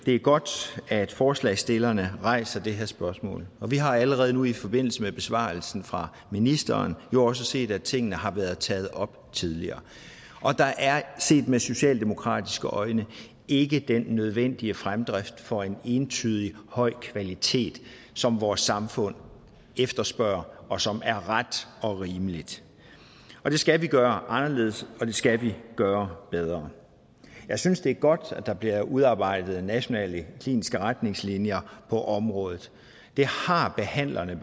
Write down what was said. er godt at forslagsstillerne rejser det her spørgsmål og vi har allerede nu i forbindelse med besvarelsen fra ministeren jo også set at tingene har været taget op tidligere der er set med socialdemokratiske øjne ikke den nødvendige fremdrift for en entydigt høj kvalitet som vores samfund efterspørger og som er ret og rimelig og det skal vi gøre anderledes og det skal vi gøre bedre jeg synes det er godt at der bliver udarbejdet nationale kliniske retningslinjer på området det har behandlerne